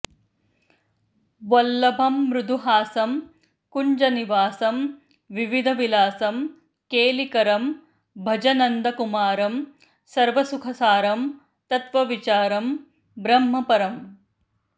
वल्लभमृदुहासं कुञ्जनिवासं विविधविलासं केलिकरं भज नन्दकुमारं सर्वसुखसारं तत्त्वविचारं ब्रह्मपरम्